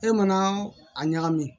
E mana a ɲagami